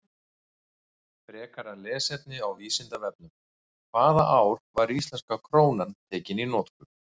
Frekara lesefni á Vísindavefnum: Hvaða ár var íslenska krónan tekin í notkun?